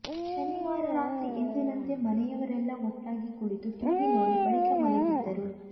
ಶನಿವಾರ ರಾತ್ರಿ ಎಂದಿನಂತೆ ಮನೆಯವರೆಲ್ಲಾ ಒಟ್ಟಾಗಿ ಕುಳಿತು ಟಿವಿ ನೋಡಿ ಬಳಿಕ ಮಲಗಿದ್ದರು